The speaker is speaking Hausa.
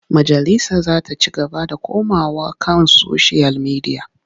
Majalisa za ta ci gaba da komawa kan soshiyal midiya.